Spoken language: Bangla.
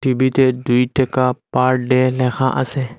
সবিতে দুই টাকা পার ডে ল্যাখা আসে।